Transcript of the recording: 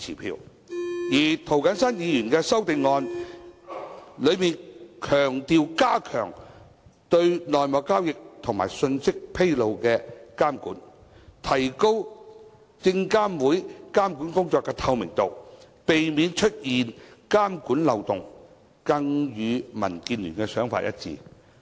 至於涂謹申議員的修正案強調加強對內幕交易及披露信息的監管，提高證監會監管工作的透明度，避免出現監管漏洞，更與民建聯的想法一致。